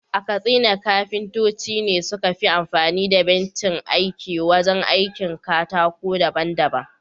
A Katsina kafintoci ne suka fi amfani da bencin aiki wajen aikin katako daban-daban.